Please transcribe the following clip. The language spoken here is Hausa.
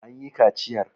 an yi kaciyar!